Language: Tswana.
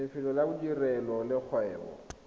lefelo la bodirelo le kgwebo